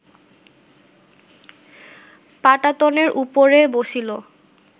পাটাতনের উপরে বসিল